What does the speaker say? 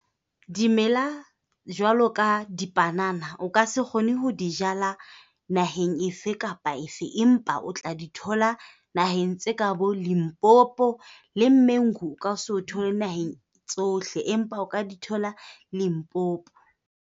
Dimela jwalo ka dipanana, o ka se kgone ho di jala naheng efe kapa efe empa o tla di thola naheng tse ka boLimpopo. Le mango o ka se o thole naheng tsohle, empa o ka di thola Limpopo.